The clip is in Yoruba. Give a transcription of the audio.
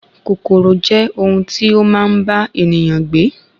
Kòkòrò je ohun ti ó maa n ba ènìyàn gbe